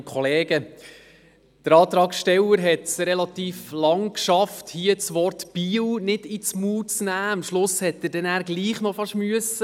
Der Antragsteller hat es relativ lange geschafft, das Wort «Biel» nicht in den Mund zu nehmen, aber am Schluss musste er es dann trotzdem machen.